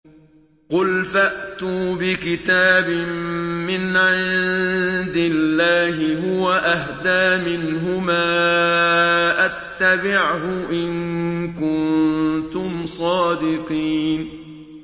قُلْ فَأْتُوا بِكِتَابٍ مِّنْ عِندِ اللَّهِ هُوَ أَهْدَىٰ مِنْهُمَا أَتَّبِعْهُ إِن كُنتُمْ صَادِقِينَ